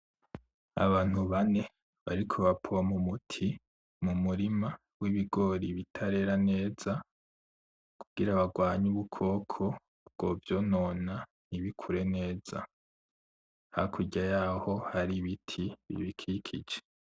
Abantu bane bariko bapoma umuti mumurima wibigori bitarera neza kugira bagwanye ubukoko bwo vyonona ntibikure neza. Hakurya yaho hari ibiti bibikikije.